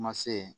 Ma se